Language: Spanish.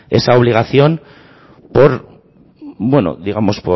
esa obligación por digamos